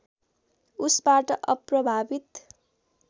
उसबाट अप्रभावित